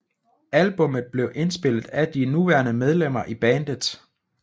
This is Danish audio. Albummet blev indspillet af de nuværende medlemmer i bandet